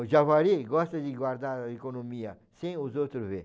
O Javali gosta de guardar a economia sem os outros vê.